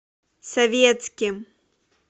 советским